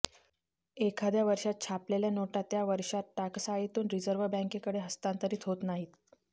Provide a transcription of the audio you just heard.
एखाद्या वर्षात छापलेल्या नोटा त्या वर्षांत टाकसाळीतून रिझर्व्ह बँकेकडे हस्तांतरित होत नाहीत